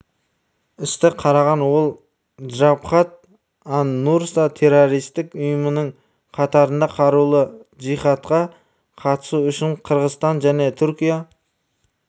істі қараған ол джабхат ан-нусра террористік ұйымының қатарында қарулы джихадқа қатысу үшін қырғызстан және түркия